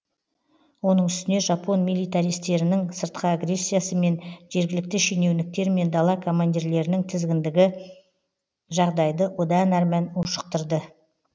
оның үстіне жапон миллитаристерінің сыртқы агрессиясы мен жергілікті шенеуніктер мен дала командирлерінің тізгіндігі жағдайды одан әрмән ушықтырды